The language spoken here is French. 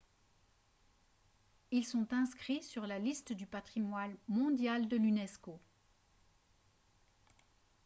ils sont inscrits sur la liste du patrimoine mondial de l'unesco